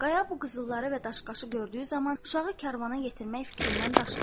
Qaya bu qızılları və daş-qaşı gördüyü zaman uşağı karvana yetirmək fikrindən daşınır.